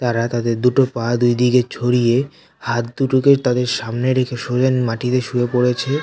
তারা তাদের দুটো পা দুই দিকে ছড়িয়ে হাত দুটো কে তাদের সামনে রেখে সোজা ন মাটি তে শুয়ে পড়েছে।